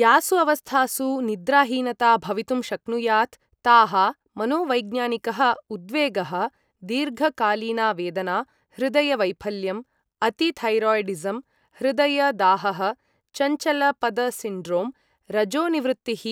यासु अवस्थासु निद्राहीनता भवितुं शक्नुयात् ताः, मनोवैज्ञानिकः उद्वेगः, दीर्घकालीना वेदना, हृदय वैफल्यम्, अति थैरौइडिज़म्, हृदय दाहः, चञ्चल पद सिण्ड्रोम्, रजोनिवृत्तिः,